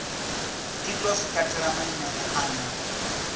itwa zwi katela maimele ane